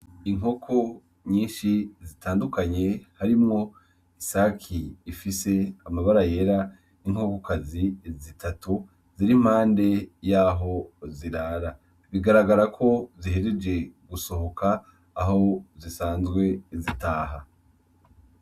Inkoko nyishi zitandukanye harimwo isaki ifise amabara yera n'inkokokazi z'itatu ziri impande yaho zirara bigaragara ko zihejeje gusohoka aho zisanzwe zitaha.